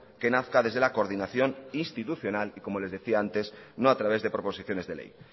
que nazca desde la coordinación institucional y como les decía antes no a través de proposiciones de ley